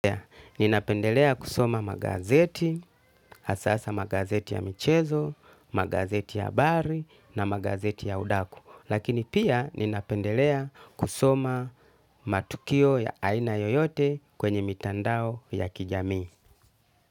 Ninapendelea kusoma magazeti, hasa hasa magazeti ya michezo, magazeti ya habari na magazeti ya udaku. Lakini pia ninapendelea kusoma matukio ya aina yoyote kwenye mitandao ya kijamii.